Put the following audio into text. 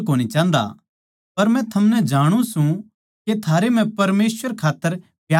पर मै थमनै जाणु सूं के थारै म्ह परमेसवर खात्तर प्यार कोनी